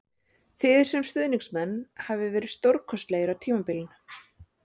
Þið sem stuðningsmenn hafið verið stórkostlegir á tímabilinu